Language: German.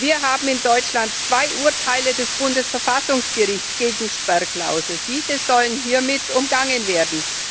Wir haben in Deutschland zwei Urteile des Bundesverfassungsgerichts gegen Sperrklauseln, diese sollen hiermit umgangen werden.